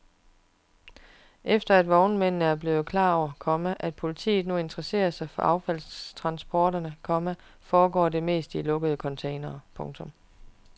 Efter at vognmændene er blevet klar over, komma at politiet nu interesserer sig for affaldstransporterne, komma foregår det meste i lukkede containere. punktum